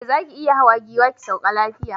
Eh zaki iya hawa giwa ki sauka lafiya